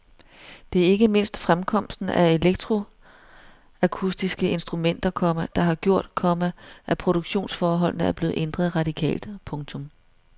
Det er ikke mindst fremkomsten af elektroakustiske instrumenter, komma der har gjort, komma at produktionsforholdene er blevet ændret radikalt. punktum